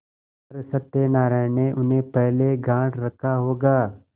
पर सत्यनारायण ने उन्हें पहले गॉँठ रखा होगा